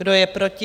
Kdo je proti?